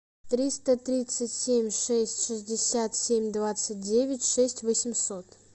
триста тридцать семь шесть шестьдесят семь двадцать девять шесть восемьсот